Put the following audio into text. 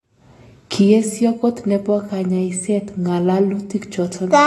Kiesio kot nebo kanyaiset ngalalutik choton